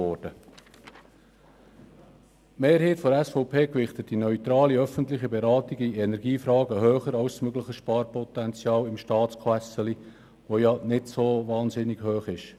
Die Mehrheit der SVP gewichtet die neutrale öffentliche Beratung in Energiefragen höher als das mögliche Sparpotenzial in der Staatskasse, das nicht so wahnsinnig hoch ist.